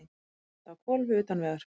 Bíllinn endaði á hvolfi utan vegar